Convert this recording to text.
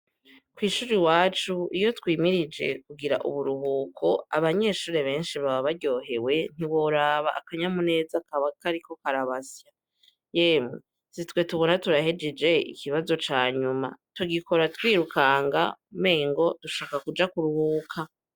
Kw'ishure iwacu, iyo twimirije kugira uburuhuko, abanyeshure benshi baba baryohrwe, ntiworaba, akanyamuneza kaba kariko karabasya. Si twe tubona turahejeje ikibazo ca nyuma. Tugikora twirukanga umengao dushaka kuja kuruhuka.